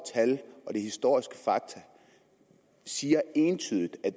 tal og de historiske fakta siger entydigt at